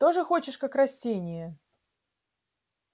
тоже хочешь как растение